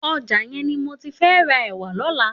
Òjà yèn ni mó ti fè rà èwà lòlà